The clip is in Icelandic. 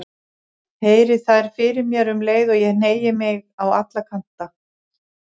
Heyri þær fyrir mér um leið og ég hneigi mig á alla kanta.